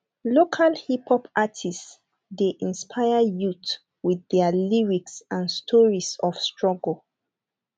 local hiphop artists dey inspire youth with their lyrics and stories of struggle